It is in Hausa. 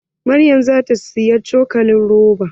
Maryam zata siyi cokalin roba.